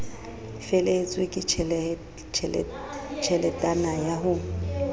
felehetswe ke tjheletana ya ho